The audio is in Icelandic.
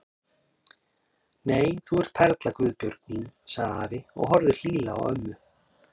Nei, þú ert perla Guðbjörg mín sagði afi og horfði hlýlega á ömmu.